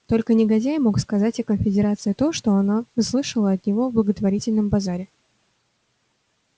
только негодяй мог сказать о конфедерации то что она слышала от него на благотворительном базаре